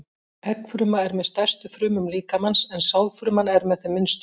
Eggfruma er með stærstu frumum líkamans en sáðfruman er með þeim minnstu.